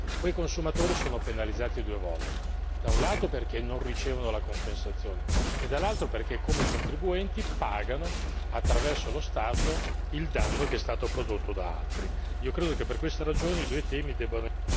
Quei consumatori sono penalizzati due volte da un lato perché non ricevono la compensazione e dall'altro perché come contribuenti pagano attraverso lo Stato il danno che è stato prodotto da altri. Io credo che per questa ragione, i due temi debbano